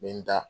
N bɛ n da